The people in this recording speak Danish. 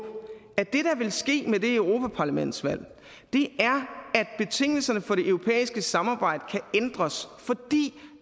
at det der vil ske med det europaparlamentsvalg er at betingelserne for det europæiske samarbejde kan ændres fordi